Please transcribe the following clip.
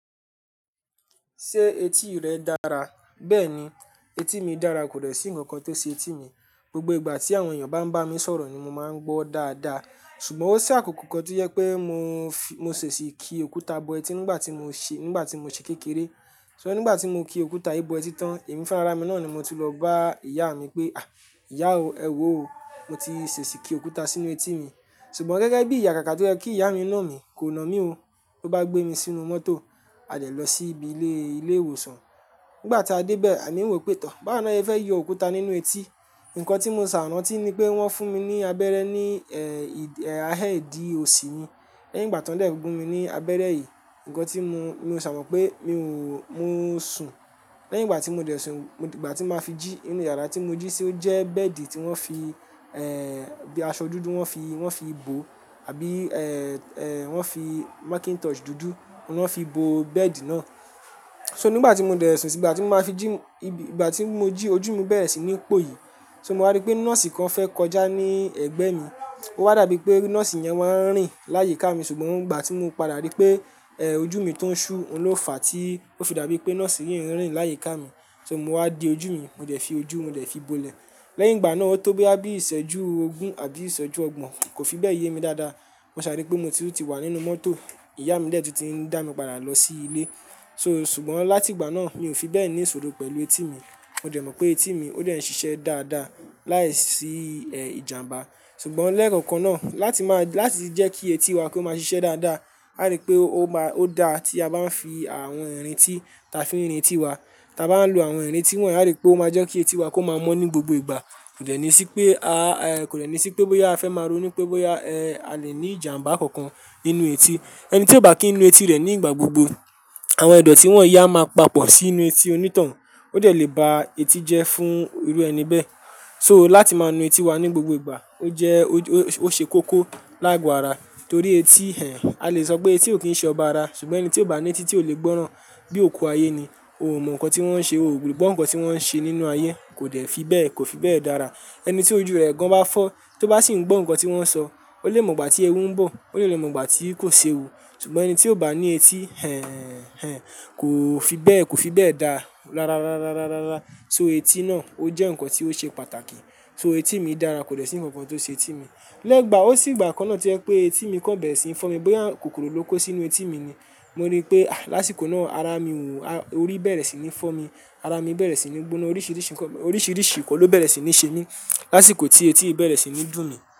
Ṣé etí rẹ dára? Bẹ́ẹ̀ni, etí mi dára kò dẹ̀ sí ǹkan kan tó ṣe etí mi. Gbogbo ìgbà tí àwọn ènìyàn bá ń bá mi sọ̀rọ̀ ni mo máa ń gbọ́ dáadáa. Ṣùgbọ́n ó ṣé àkókò kan tí ye pé mo fi, mo ṣèṣì ki òkúta bọ etí nígbà tí mo ṣe, nígbà tí mo ṣe kékeré. So nígbà tí mo ki òkúta yìí bọ etí tán, ẹ̀mí fún ara mi náà ni mo tun lọ bá ìyá mi pé, "à, ìyá o, ẹ wò ó, mo ti ṣèṣì ki òkúta sínú etí mi." Ṣùgbọ́n gẹ́gẹ́ bí ìyà kàkà tó jẹ́ kí ìyá mi na mí, kò na mí o. Ó bá gbé mi sínú mọ́tò, a dẹ́ lọ sí ibi ilé, ilé ìwòsàn. Nígbà tí a dé bẹ́ẹ̀, à mí ń wò pé tán, báwo ni ẹ fẹ́ yọ òkúta nínú etí? Ǹkan tí mo ṣà ránti tí ni pé wọ́n fún mi ní abẹ́rẹ́ ní, eh, ì, ahẹ́dì òsì mi. Lẹ́yìn ìgbà tó ń dẹ̀ gun mi ní abẹ́rẹ́ yìí, ǹkan tí mo, mo ṣà Mọ̀ pé mi ò, mo ń sùn. Lẹ́yìn ìgbà tí mo dẹ̀ sùn, ìgbà tí màá fi jí, inú yàrá tí mo jí sì ó jẹ́ bẹ́ẹ̀dì tí wọ́n fi, ẹ́ẹ́, aṣọ dúdú wọ́n fi, wọ́n fi bò àbí, ẹ́ẹ́, wọ́n fi Macintosh dúdú ló fi bò bẹ́ẹ̀dì náà. So nígbà tí mo dẹ̀ sùn sí ìgbà tí màá fi jí, ìgbà tí mo jí ojú mi bẹ̀rẹ̀ sí ní pòyì. So màá rí pé nọ́ọ̀sì kan fẹ́ kọjá ní ẹ̀gbẹ́ mi. Ó wà dàbí pé nọ́ọ̀sì yẹn wà ń rìn láyi ká mi, ṣùgbọ́n ìgbà tí mo padà rí pé, ẹ́ẹ́, ojú mi tó ń ṣú ló fà á tí ó fi dàbí pé nọ́ọ̀sì yìí ń rìn láyi ká mi. So mo wá di ojú mi, mo dẹ̀ fi ojú, mo dẹ̀ fi bo ilẹ̀. Lẹ́yìn ìgbà náà ó tó bí àbí ìṣẹ́jú ogún àbí ìṣẹ́jú ọgbọ̀n, kò fi bẹ́ẹ̀ yé mi dáadáa. Mo ṣà rí pé mo titu wà nínú mọ́tò. Ìyá mi dẹ́ tu ti ń dá mi padà lọ sí ilé. So ṣùgbọ́n láti ìgbà náà mi ò fi bẹ́ẹ̀ ní ìsòro pẹ̀lú etí mi. Mo dẹ̀ mọ̀ pé etí mi ó dẹ̀ ń ṣiṣẹ́ dáadáa láìsí, ẹ́ẹ́, ìjàmbá. Ṣùgbọ́n lẹ́ẹ̀kọ̀kan náà láti máa, láti jẹ́ kí etí wa kó máa ṣiṣẹ́ dáadáa, à rí pé ó ma, ó dáa tí a bá ń fi àwọn ìrìn tí ta fi ń rìntì wa, ta bá ń lo àwọn ìrìn tí wọ́n yi, à rí pé ó máa jẹ́ kí etí wa kó máa mọ́ ní gbogbo ìgbà. Kò dẹ̀ ní sí pé a, ẹ́ẹ́, kò dẹ̀ ní sí pé bóyá a fẹ́ máa ronú pé bóyá, ẹ́ẹ́, a lè ní ìjàmbá kankan nínú etí. Ẹni tí ò bá kínu etí rẹ̀ nígbà gbogbo, àwọn ìdọ̀tí wọ́n yii a máa papọ̀ sínú etí onítọ̀hún. Ó dẹ̀ lè ba eti jẹ́ fún irú ẹni bẹ́ẹ̀. So láti máa nu etí wa ní gbogbo ìgbà ó jẹ́, ó ṣe kókó lágoárà torí etí ẹ́, a lè sọ pé etí ò kí ń ṣe ọba ara, ṣùgbọ́n ẹni tí ò bá ní etí tí ò lè gbọ́ràn. Bí òkú ayé ni, ò mọ̀ ǹkan tí wọ́n ń ṣe, ò le gbọ́ ǹkan tí wọ́n ń ṣe nínú ayé, kò dẹ̀ fi bẹ́ẹ̀, kò fi bẹ́ẹ̀ dára. Ẹni tí ojú rẹ̀ gan bá fọ́ tí ó bá sì ń gbọ́n ǹkan tí wọ́n ń sọ, ó lè mọ̀ ìgbà tí ẹwú ń bọ̀, ó lè lè mọ̀ ìgbà tí kò ṣe wu. Ṣùgbọ́n ẹni tí ò bá ní etí, ẹ́ẹ́, ẹ́ẹ́, kò fi bẹ́ẹ̀, kò fi bẹ́ẹ̀ dára rárá, rárá, rárá, rárá. So etí náà ó jẹ́ ǹkan tí ó ṣe pàtàkì. So etí mi dára kò dẹ̀ sí ǹkan kan tó ṣe etí mi. Lẹ́gbàá ó sì ìgbà kan náà tí ẹ pé etí mi kan bẹ̀rẹ̀ sí ń fọ́ mi, bóyá kòkòrò ló kó sínú etí mi ni. Mo rí i pé, à, lásìkò náà ara mi wùwù, orí bẹ̀rẹ̀ sí ní fọ́ mi. Ara mi bẹ̀rẹ̀ sí ní gbóná, orísirisi nnkan lo bere si ni semi l'asiko ti eti yii bere si ni du mi.